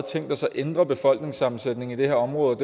tænkt sig at ændre befolkningssammensætningen i et område